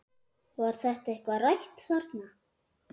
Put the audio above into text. Var þetta eitthvað rætt þarna?